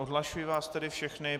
Odhlašuji vás tedy všechny.